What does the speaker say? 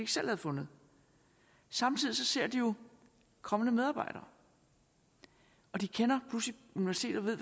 selv havde fundet samtidig ser de jo kommende medarbejdere og de kender pludselig universitetet